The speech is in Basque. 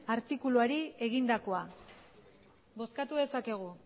artikuluari egindakoa bozkatu dezakegu